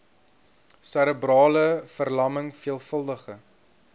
serebrale verlamming veelvuldige